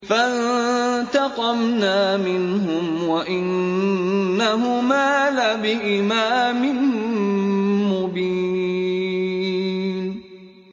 فَانتَقَمْنَا مِنْهُمْ وَإِنَّهُمَا لَبِإِمَامٍ مُّبِينٍ